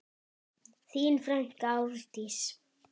Þín frænka Árdís.